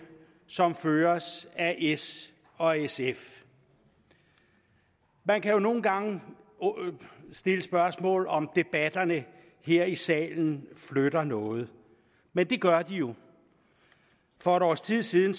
som føres af s og sf man kan jo nogle gange stille spørgsmålet om debatterne her i salen flytter noget men det gør de jo for et års tid siden